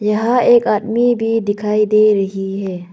यहां एक आदमी भी दिखाई दे रही है।